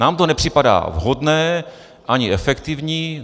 Nám to nepřipadá vhodné, ani efektivní.